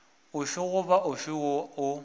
ofe goba ofe woo o